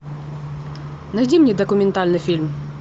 найди мне документальный фильм